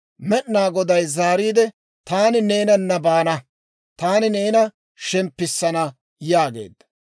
Med'inaa Goday zaariide, «Taani neenana baana; taani neena shemppissana» yaageedda.